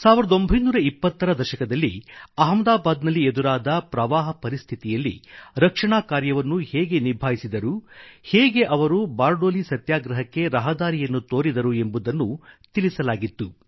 1920 ರ ದಶಕದಲ್ಲಿ ಅಹ್ಮದಾಬಾದ್ ನಲ್ಲಿ ಎದುರಾದ ಪ್ರವಾಹ ಪರಿಸ್ಥಿಯಲ್ಲಿ ರಕ್ಷಣಾ ಕಾರ್ಯವನ್ನು ಹೇಗೆ ನಿಭಾಯಿಸಿದರು ಹೇಗೆ ಅವರು ಬಾರ್ಡೊಲಿ ಸತ್ಯಾಗ್ರಹಕ್ಕೆ ರಹದಾರಿಯನ್ನು ತೋರಿದರು ಎಂಬುದನ್ನು ತಿಳಿಸಲಾಗಿತ್ತು